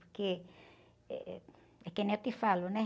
Porque, eh, é que nem eu te falo, né?